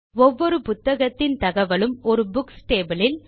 ஒவ்வொரு புத்தகத்தின் தகவலும் ஒரு புக்ஸ் டேபிள் இல்